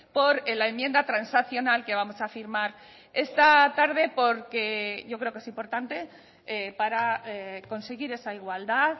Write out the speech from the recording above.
por la enmienda transaccional que vamos a firmar esta tarde porque yo creo que es importante para conseguir esa igualdad